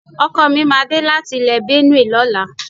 Ọkọ mi máa dé láti ilè Benue lọ́la.